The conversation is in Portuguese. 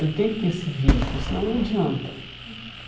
Ele tem que ter esse vínculo, senão não adianta.